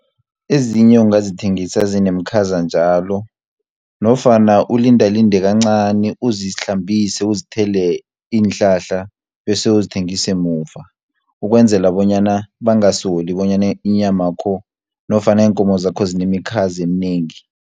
Ezinye ungazithengisa zinemikhaza njalo, nofana ulindalinde kancani, uzihlambise uzithele iinhlahla, bese uzithengise muva, ukwenzela bonyana bangasoli bonyana inyam yakho nofana iinkomo zakho zinemikhazi eminengi.